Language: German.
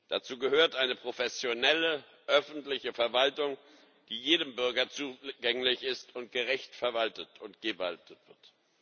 Dazu gehört eine professionelle öffentliche Verwaltung, die jedem Bürger zugänglich ist und gerecht verwaltet und gewaltet wird.